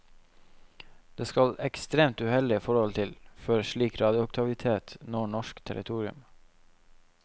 Det skal ekstremt uheldige forhold til, før slik radioaktivitet når norsk territorium.